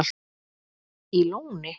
í Lóni